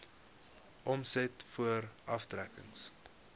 omset voor aftrekkings